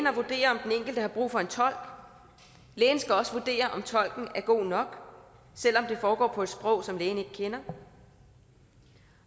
det har brug for en tolk lægen skal også vurdere om tolken er god nok selv om det foregår på et sprog som lægen ikke kender